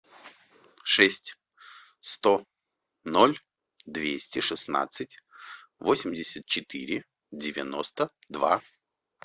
шесть сто ноль двести шестнадцать восемьдесят четыре девяносто два